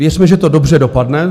Věřme, že to dobře dopadne.